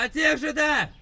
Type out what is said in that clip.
Eynilə bəli!